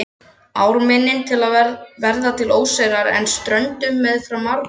Við ármynnin verða til óseyrar en með ströndum fram marbakkar.